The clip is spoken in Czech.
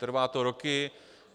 Trvá to roky.